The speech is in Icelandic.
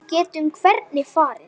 Við getum hvergi farið.